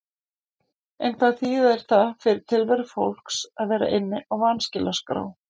En hvað þýðir það fyrir tilveru fólks að vera inni á vanskilaskrá?